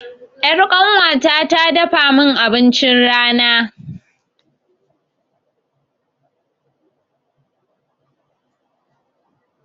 Ƴar ƙanuwata ta dafa mun abincin rana